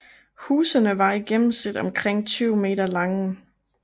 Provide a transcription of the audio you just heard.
Husene var i gennemsnit omkring 20 m lange